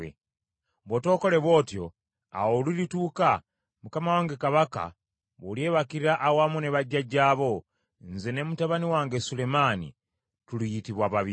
Bw’otookole bw’otyo, awo olulituuka, mukama wange kabaka bw’olyebakira awamu ne bajjajjaabo, nze ne mutabani wange Sulemaani tuliyitibwa babi.”